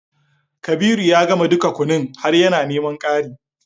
Kabiru ya gama dukan kunun har yana neman ƙari